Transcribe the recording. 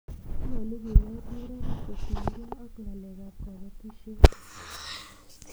nyalun kinet neranik kotiny ge ak ng'alek ab kabatishiet